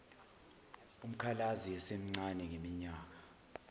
umkhalazi esemncane ngeminyaka